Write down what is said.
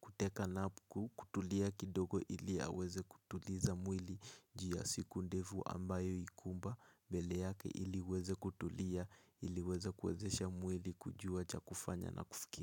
kuteka na kutulia kidogo ili aweze kutuliza mwili jia siku ndefu ambayo ikumba mbele yake ili weze kutulia ili weze kwezesha mwili kujua cha kufanya na kufiki.